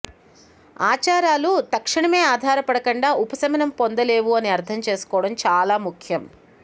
ఆచారాలు తక్షణమే ఆధారపడకుండా ఉపశమనం పొందలేవు అని అర్థం చేసుకోవడం చాలా ముఖ్యం